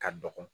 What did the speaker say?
Ka dɔgɔ